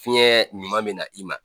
Fiɲɛ ɲuman bɛna i ma